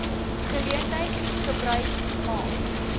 geleentheid gebruik maak